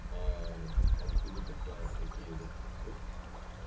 откуда тогда такие зарплаты